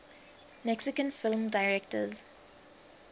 mexican film directors